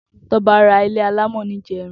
Toba rà ilé àlámọ̀ nijèrín